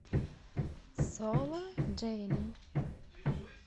соло дженни